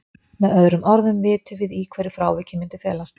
Með öðrum orðum vitum við í hverju frávikið myndi felast.